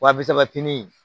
Wa bisatinin